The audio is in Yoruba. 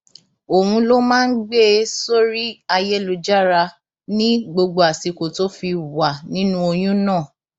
òun ló máa ń gbé e sórí ayélujára ní gbogbo àsìkò tó fi wà nínú oyún náà